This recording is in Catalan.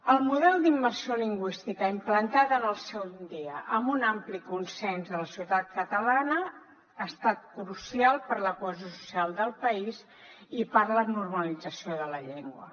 el model d’immersió lingüística implantat en el seu dia amb un ampli consens de la societat catalana ha estat crucial per a la cohesió social del país i per a la normalització de la llengua